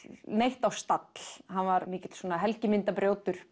neitt á stall hann var mikill svona